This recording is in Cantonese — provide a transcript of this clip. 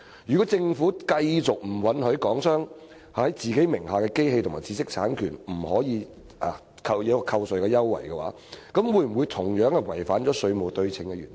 如果政府繼續拒絕讓港商就其名下的機器和知識產權享有扣稅優惠，是否違反了"稅務對稱"原則？